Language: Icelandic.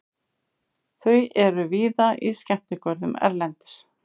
Þau eru víða í skemmtigörðum erlendis.